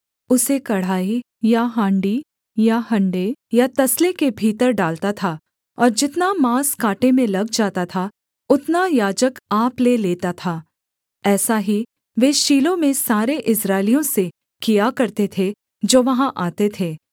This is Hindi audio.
उसे कड़ाही या हाण्डी या हँडे या तसले के भीतर डालता था और जितना माँस काँटे में लग जाता था उतना याजक आप ले लेता था ऐसा ही वे शीलो में सारे इस्राएलियों से किया करते थे जो वहाँ आते थे